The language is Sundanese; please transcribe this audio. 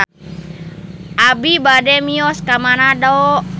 Abi bade mios ka Manado